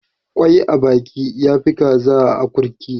Kwai a baka ya fi Kaza a akurki.